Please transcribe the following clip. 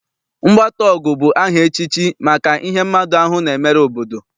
Mgbataọgụ bụ aha echichi maka ihe mmadụ ahụ na-emere obodo.